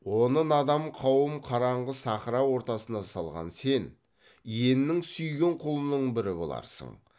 оны надан қауым қараңғы сахра ортасына салған сен иеннің сүйген құлының бірі боларсың